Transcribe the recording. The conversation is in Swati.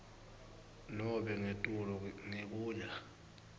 nobe ngetulu ngekuya